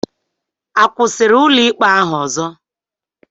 A kwụsịrị ụlọikpe ahụ ọzọ?